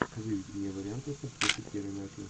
выведи мне варианты с актрисой кирой найтли